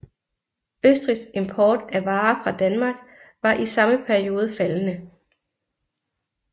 Østrigs import af varer fra Danmark var i samme periode faldende